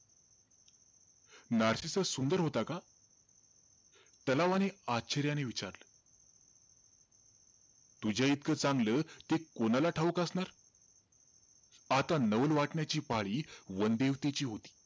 Narcissus सुंदर होता का? तलावाने आश्चर्याने विचारलं. तुझ्या इतकं चांगलं ते कोणाला ठाऊक असणार? आता नवल वाटण्याची पाळी वनदेवतेची होती.